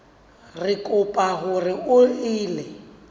re kopa hore o ele